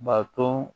Bato